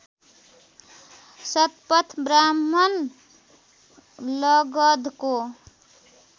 Shatapatha Brahmana लगधको